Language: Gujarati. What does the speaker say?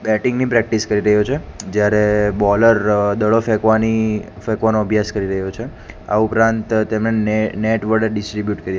બેટિંગ ની પ્રેક્ટિસ કરી રહ્યો છે જ્યારે બોલર દળો ફેકવાની ફેકવાનો અભ્યાસ કરી રહ્યો છે આ ઉપરાંત તેમણે ને નેટ વડે ડિસ્ટ્રીબ્યૂટ કરી.